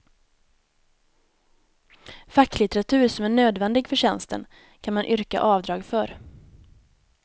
Facklitteratur som är nödvändig för tjänsten kan man yrka avdrag för.